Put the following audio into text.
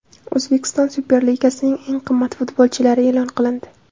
O‘zbekiston Superligasining eng qimmat futbolchilari e’lon qilindi.